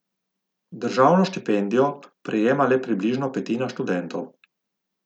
Državno štipendijo prejema le približno petina študentov.